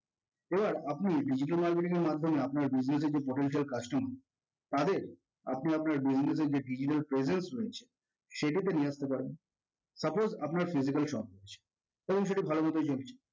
এবার আপনি digital marketing এর মাধ্যমে আপনার business এর যে potential customer তাদের আপনি আপনার business এর যে digital presence রয়েছে সেক্ষেত্রে নিয়ে আসতে পারেন। suppose আপনার digital shop ভালোমতোই চলছে